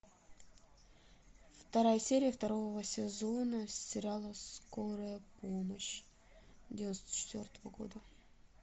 вторая серия второго сезона сериала скорая помощь девяносто четвертого года